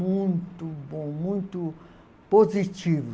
Muito bom, muito positivo.